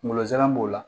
Kungolo zɛmɛ b'o la